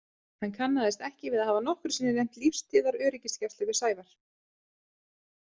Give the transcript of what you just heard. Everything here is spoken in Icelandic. Hann kannaðist ekki við að hafa nokkru sinni nefnt lífstíðaröryggisgæslu við Sævar.